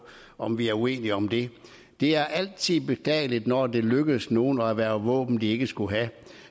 om vi er uenige om det er altid beklageligt når det lykkes nogle at erhverve våben de ikke skulle have